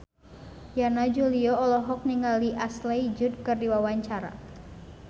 Yana Julio olohok ningali Ashley Judd keur diwawancara